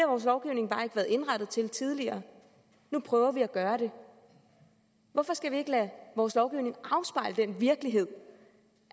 vores lovgivning bare ikke været indrettet til tidligere nu prøver vi at gøre det hvorfor skal vi ikke lade vores lovgivning afspejle den virkelighed